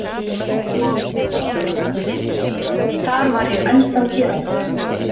Þar var ég ennþá héraðslæknir.